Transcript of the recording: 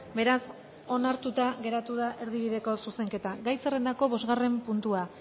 beraz onartuta geratu da erdibideko zuzenketa gai zerrendako bosgarren puntua